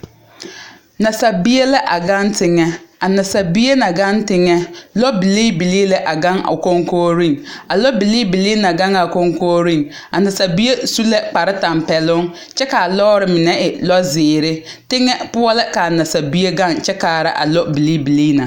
Nasabie la a gaŋ teŋa a nasabie na gaŋ teŋɛ lɔ bilii bilii la a gaŋ a koŋkogreŋ a lɔ bilii bilii na gaŋ koŋkogreŋ a nasabie su la kpare tampeɛloŋ kyɛ kaa lɔɔre mine e lɔ zeere teŋa poɔ la ka nasabie gaŋ kyɛ kaara a lɔ bilii bilii na.